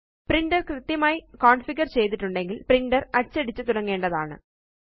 printer കൃത്യമായി configure ചെയ്തിട്ടുണ്ടെങ്കില് printer അച്ചടിച്ചു തുടങ്ങേണ്ടതാണ്